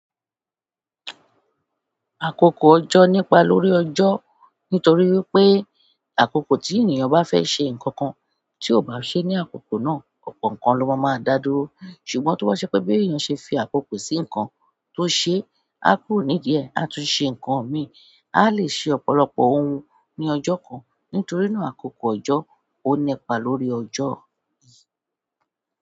Àkókò ọjọ́ nípa lórí ọjọ́ nítorí wipé àkókò tí ènìyàn bá fẹ́ ṣe nǹkan kan tí ó bá ṣe ní àkókò náà ọ̀pọ̀ nǹkan ló máa máa dádúró ṣùgbọ́n tó bá ṣe pé bí ènìyàn ṣe fi àkókò sí nǹkan tó ṣe, á kúrò ní díẹ̀ á tún ṣe ǹkan mi. A lè ṣe ọ̀pọ̀lọpọ̀ ohun ní ọjọ́ kan nítorí náà àkókò ọjọ́ o nípa lórí ojo.